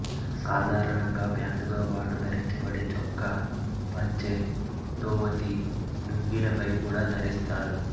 సాధారణంగా ప్యాంటుతో బాటు ధరించబడే చొక్కా పంచె ధోవతి లుంగీల పై కూడా ధరిస్తారు